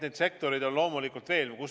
Neid sektoreid on loomulikult veel.